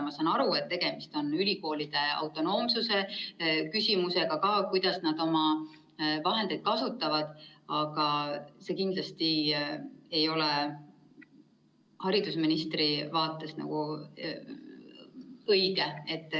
Ma saan aru, et tegemist on ka ülikoolide autonoomsuse küsimusega, et kuidas nad oma vahendeid kasutavad, aga see kindlasti ei ole haridusministri vaates õige.